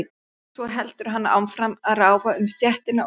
Svo heldur hann áfram að ráfa um stéttina og reykja.